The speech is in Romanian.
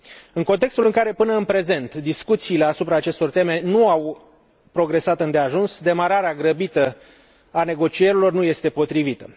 În contextul în care, până în prezent, discuțiile asupra acestor teme nu au progresat îndeajuns, demararea grăbită a negocierilor nu este potrivită.